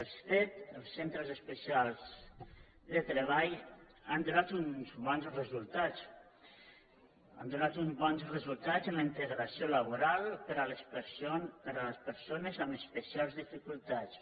els cet els centres especials de treball han donat uns bons resultats han donat uns bons resultats en la integració laboral per a les persones amb especials dificultats